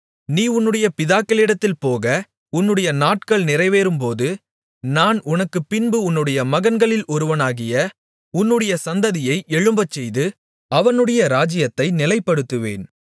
நீ உன்னுடைய பிதாக்களிடத்தில் போக உன்னுடைய நாட்கள் நிறைவேறும்போது நான் உனக்குப்பின்பு உன்னுடைய மகன்களில் ஒருவனாகிய உன்னுடைய சந்ததியை எழும்பச்செய்து அவனுடைய ராஜ்ஜியத்தை நிலைப்படுத்துவேன்